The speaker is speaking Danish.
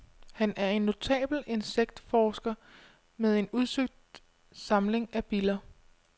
Han er en notabel insektforsker, med en udsøgt samling af biller.